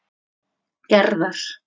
Gerðar